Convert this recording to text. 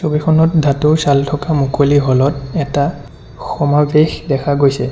ছবিখনত ধাতুৰ চাল থকা মুকলি হলত এটা সমাৱেশ দেখা গৈছে।